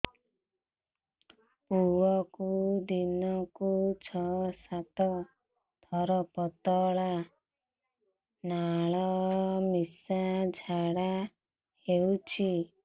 ଛୁଆକୁ ଦିନକୁ ଛଅ ସାତ ଥର ପତଳା ନାଳ ମିଶା ଝାଡ଼ା ହଉଚି